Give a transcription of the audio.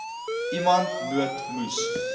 iemand nood moes